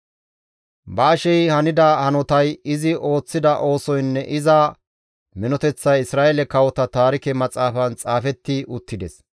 Baashey hanida hanotay, izi ooththida oosoynne iza minoteththay Isra7eele kawota taarike maxaafan xaafetti uttides.